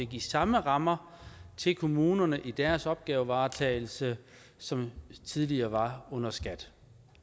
de samme rammer til kommunerne i deres opgavevaretagelse som tidligere var under skat